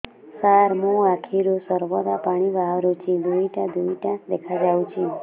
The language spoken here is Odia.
ସାର ମୋ ଆଖିରୁ ସର୍ବଦା ପାଣି ବାହାରୁଛି ଦୁଇଟା ଦୁଇଟା ଦେଖାଯାଉଛି